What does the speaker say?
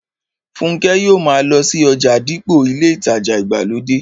Fúnkẹ́ yóò ma lọ sí ọjà dípò ilé ìtajà ìgbàlódé